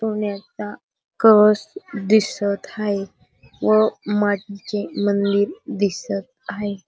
सोन्याचा कळस दिसत आहे व मागे मंदिर दिसत आहे.